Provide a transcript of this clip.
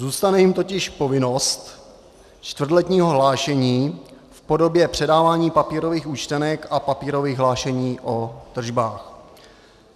Zůstane jim totiž povinnost čtvrtletního hlášení v podobě předávání papírových účtenek a papírových hlášení o tržbách.